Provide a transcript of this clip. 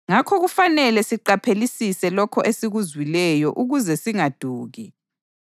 Ngakho kufanele siqaphelelisise lokho esikuzwileyo ukuze singaduki.